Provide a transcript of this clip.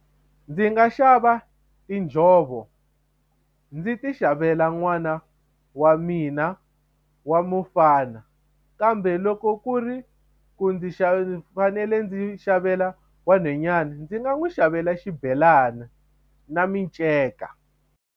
Ndzi nga xava tinjhovo ndzi ti xavela n'wana wa mina wa mufana kambe loko ku ri ku ndzi ndzi fanele ndzi xavela wa nhonyani ndzi nga n'wi xavela xibelani na minceka.